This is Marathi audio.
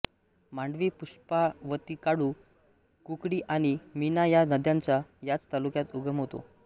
मांडवीपुष्पावतीकाळू कुकडीआणि मिना या नद्यांचा याच तालुक्यात उगम होतो